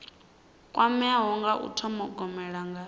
kwameaho nga u thogomela nga